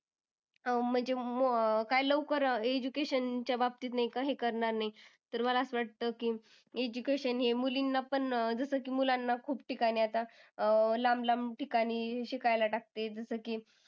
अह म्हणजे अं काही लवकर अह education च्या बाबतीत नाही का हे करणार नाही. तर मला असं वाटतं की education हे मुलींना पण अह जसं की मुलांना खूप ठिकाणी आता अं लांब-लांब ठिकाणी शिकायला टाकते. जसं की